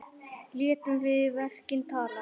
Létum við verkin tala.